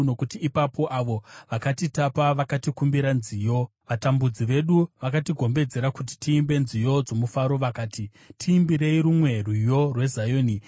nokuti ipapo avo vakatitapa vakatikumbira nziyo, vatambudzi vedu vakatigombedzera kuti tiimbe nziyo dzomufaro, vakati, “Tiimbirei rumwe rwiyo rweZioni!”